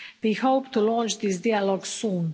We hope to launch this dialogue soon.